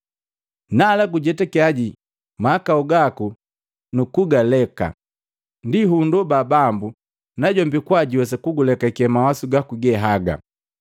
Nala gujetakia mahakau gaku nukugaleka, ndi hundoba Bambu najombi kwaa juwesa kugulekake mawasu gaku gehaga.